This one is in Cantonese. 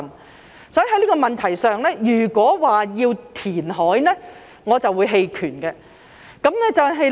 因此，在這個問題上，如果說要填海，我便會棄權。